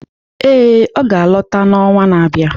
Ee, ọ ga-alọta n’ọnwa na-abịa.